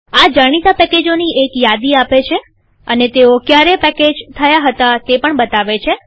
આ જાણીતા પેકેજોની એક યાદી આપે છે અને તેઓ ક્યારે પેકેજ થયા હતા તે બતાવે છે